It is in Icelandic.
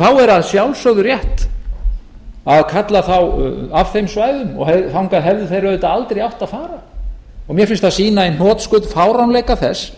þá er að sjálfsögðu rétt að kalla þá af þeim svæðum og þangað hefðu þeir auðvitað aldrei átt að fara mér finnst það sýna í hnotskurn fáránleika þess